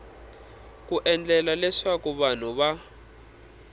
ku endlela leswaku vanhu va